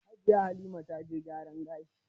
Jiya Halima ta je gyaran gashi.